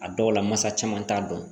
A dɔw la masa caman t'a dɔn